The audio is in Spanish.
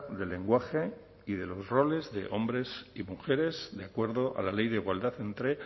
del lenguaje y de los roles de hombres y mujeres de acuerdo a la ley de igualdad entre